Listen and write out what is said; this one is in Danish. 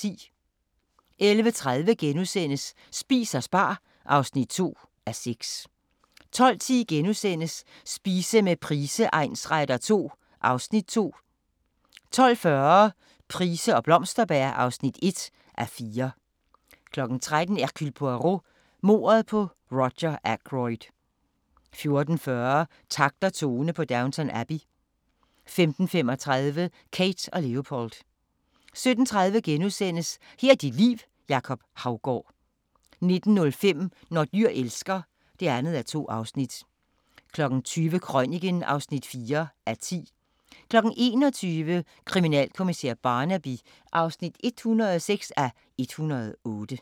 11:30: Spis og spar (2:6)* 12:10: Spise med Price egnsretter II (Afs. 2)* 12:40: Price og Blomsterberg (1:4) 13:00: Hercule Poirot: Mordet på Roger Ackroyd 14:40: Takt og tone på Downton Abbey 15:35: Kate & Leopold 17:30: Her er dit liv: Jacob Haugaard * 19:05: Når dyr elsker (2:2) 20:00: Krøniken (4:10) 21:00: Kriminalkommissær Barnaby (106:108)